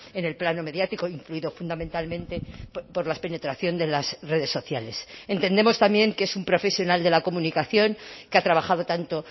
en el plano mediático influido fundamentalmente por la penetración de las redes sociales entendemos también que es un profesional de la comunicación que ha trabajado tanto